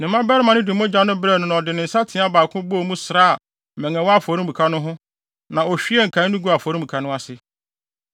Ne mmabarima no de mogya no brɛɛ no na ɔde ne nsateaa baako bɔɔ mu sraa mmɛn a ɛwɔ afɔremuka no ho no na ohwiee nkae no guu afɔremuka no ase.